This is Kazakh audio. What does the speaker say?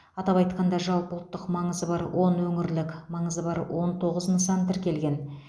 атап айтқанда жалпыұлттық маңызы бар он өңірлік маңызы бар он тоғыз нысан тіркелген